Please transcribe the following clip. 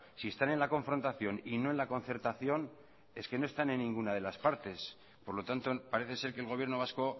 si están en la confrontación y no en la concertación es que no están en ninguna de las partes por lo tanto parece ser que el gobierno vasco